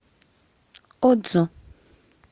одзо